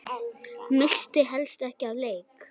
Missti helst ekki af leik.